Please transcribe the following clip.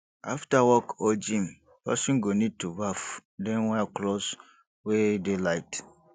after work or gym person go need to baff then wear cloth wey det light